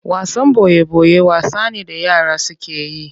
Wasan boye boye wasa ne da yara suke yi.